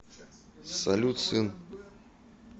салют сын